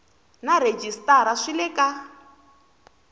na rhejisitara swi le ka